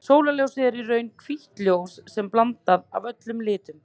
Sólarljósið er í raun hvítt ljós sem er blanda af öllum litum.